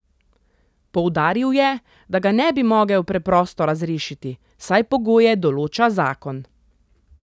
Poudaril je, da ga ne bi mogel preprosto razrešiti, saj pogoje določa zakon.